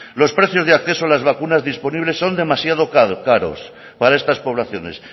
los precios de acceso a las vacunas disponibles son demasiado caros para estas poblaciones